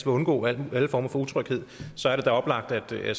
undgå alle former for utryghed oplagt at